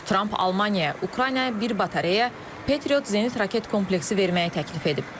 Tramp Almaniyaya, Ukraynaya bir batareya, Patriot zenit raket kompleksi verməyi təklif edib.